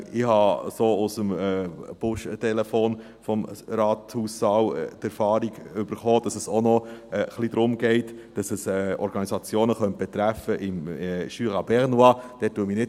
Ich habe über das Buschtelefon des Rathaussaals erfahrenen, dass es auch noch ein wenig darum geht, dass es Organisationen aus dem Jura bernois betreffen könnte.